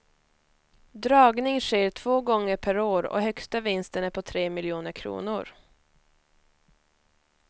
Dragning sker två gånger per år och högsta vinsten är på tre miljoner kronor.